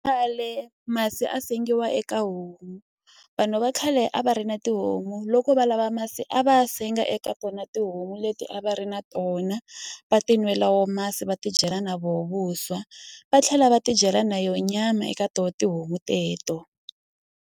Khale masi a sengiwa eka homu vanhu va khale a va ri na tihomu loko va lava masi a va ya senga eka tona tihomu leti a va ri na tona va ti nwela wo masi va tidyela na voho vuswa va tlhela va tidyela na yo nyama eka to tihomu teto.